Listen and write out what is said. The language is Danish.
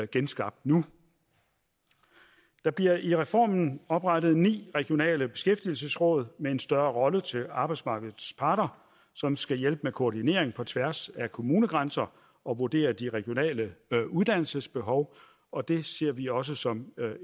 genskabt nu der bliver i reformen oprettet ni regionale beskæftigelsesråd med en større rolle til arbejdsmarkedets parter som skal hjælpe med koordinering på tværs af kommunegrænser og vurdere de regionale uddannelsesbehov og det ser vi også som